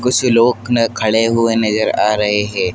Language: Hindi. बहुत से लोक न खड़े हुए नज़र आ रहे है।